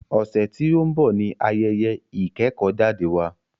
Ọ̀sẹ̀ tí o ń bọ̀ ní ayẹyẹ ìkẹ́kọ̀jáde wa.